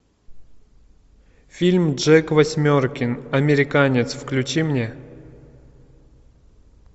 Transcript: фильм джек восьмеркин американец включи мне